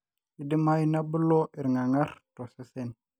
keidimayu nebulu irgargar tosesen